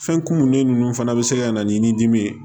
Fɛn kumunnen ninnu fana bɛ se ka na ni dimi ye